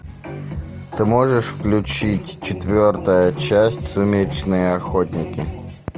ты можешь включить четвертая часть сумеречные охотники